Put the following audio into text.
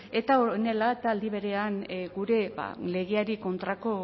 eta honela eta aldi berean gure legeari kontrako